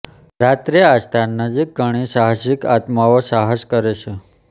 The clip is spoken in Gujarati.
રાત્રે આ સ્થાન નજીક ઘણી સાહસિક આત્માઓ સાહસ કરે છે